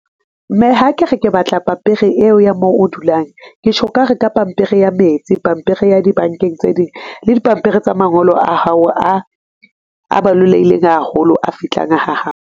Mme, ha ke re ke batla pampiri eo ya moo o dulang, ketjho ka re pampiri ya metsi, pampiri ya dibankeng tse ding, le dipampiri tsa mangolo a hao, a balolehileng haholo, a fihlang ha hao.